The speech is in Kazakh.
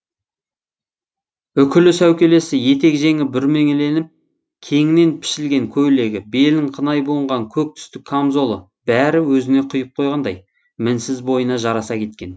үкілі сәукелесі етек жеңі бүрмеленіп кеңінен пішілген көйлегі белін қынай буынған көк түсті камзолы бәрі өзіне құйып қойғандай мінсіз бойына жараса кеткен